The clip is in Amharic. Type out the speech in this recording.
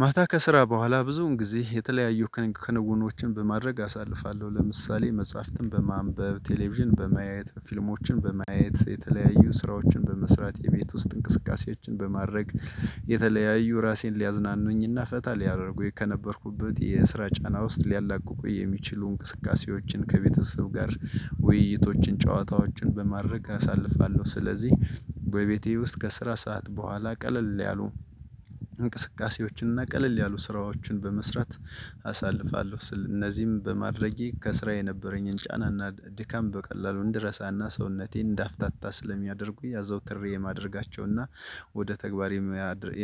ማታ ከስራ በኋላ ብዙውን ጊዜ የተለያዩ ከነውኖችን በማድረግ አሳልፋለሁ። ለምሳሌ መጽሐፍትን በማንበብ ቴሌቪዥን በማየት ፊልሞችን በማየት የተለያዩ ስራዎችን በመስራት የቤት ውስጥ እንቅስቃሴያችን በማድረግ። የተለያዩ ራሴን ሊያዝናኑኝና ፈታ ሊያደርጉኝ ከነበርኩበት የስራ ጫና ውስጥ ሊያላቅቁ የሚችሉ እንቅስቃሴዎችን ከቤተሰብ ጋር ውይይቶችን ጨዋታዎችን በማድረግ አሳልፋለሁ። ስለዚህ ወይ ቤቴ ውስጥ ከስራ ሰዓት በኋላ ቀለል ያሉ እንቅስቃሴዎችን እና ቀለል ያሉ ስራዎችን በመስራት አሳልፋለሁ። ስል እነዚህም በማድረጌ ከስራ የነበረኝን ጫና እና ድካም በቀላሉ እንድረሳና ሰውነቴን እንዳፍታታ ስለሚያደርጉ ያዘውትሬ የማደርጋቸውና ወደ ተግባር